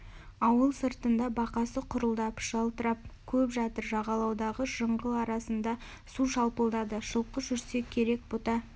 ауыл сыртында бақасы құрылдап жалтырап көл жатыр жағалаудағы жыңғыл арасында су шалпылдады жылқы жүрсе керек бұта